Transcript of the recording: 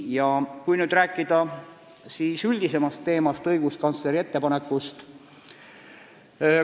Räägin natuke ka üldisemast teemast, õiguskantsleri arvamusest.